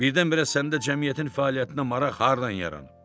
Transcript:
Birdən-birə səndə cəmiyyətin fəaliyyətinə maraq hardan yaranıb?